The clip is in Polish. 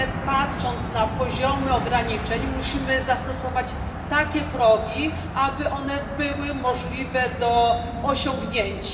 Patrząc na poziomy ograniczeń, musimy zastosować takie progi, aby one były możliwe do osiągnięcia.